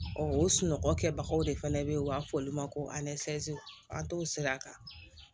o sunɔgɔ kɛbagaw de fana bɛ yen u b'a fɔ olu ma ko an t'o sira kan